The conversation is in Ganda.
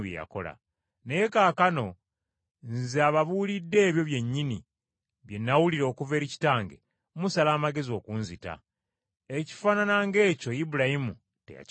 Naye kaakano, Nze ababuulidde ebyo byennyini bye nawulira okuva eri Katonda musala amagezi okunzita. Ekifaanana ng’ekyo Ibulayimu teyakikola.